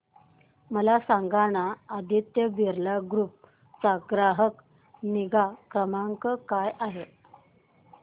मला सांगाना आदित्य बिर्ला ग्रुप चा ग्राहक निगा क्रमांक काय आहे